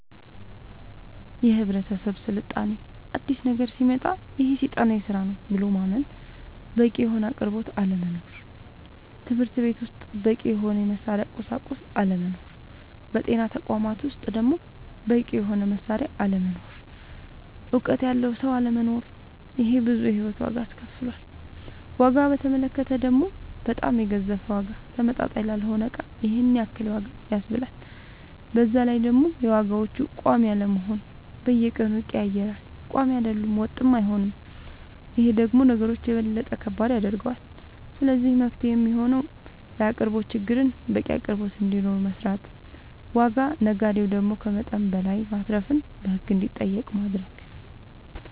የህብረተሰብ ስልጣኔ አዲስ ነገሮች ሲመጣ ይሄ ሴጣናዊ ስራ ነው ብሎ ማመን በቂ የሆነ አቅርቦት አለመኖር ትምህርትቤት ውስጥ በቂ የሆነ የመማሪያ ቁሳቁስ አለመኖር በጤና ተቋማት ውስጥ ደሞ በቂ የሆነ መሳሪያ አለመኖር እውቀት ያለው ሰው አለመኖር ይሄ ብዙ የሂወት ዋጋ አስከፍሎል ዋጋ በተመለከተ ደሞ በጣም የገዘፈ ዋጋ ተመጣጣኝ ላልሆነ እቃ ይሄንን ያክል ዋጋ ያስብላል በዛላይ ደሞ የዋጋዎች ቆሚ አለመሆን በየቀኑ ይቀያየራል ቆሚ አይደለም ወጥም አይሆንም ይሄ ደሞ ነገሮች የበለጠ ከባድ ያደርገዋል ስለዚህ መፍትሄው የሚሆነው የአቅርቦት ችግርን በቂ አቅርቦት እንዲኖር መስራት ዋጋ ነጋዴው ደሞ ከመጠን በላይ ማትረፍን በህግ እንዲጠየቅ ማረግ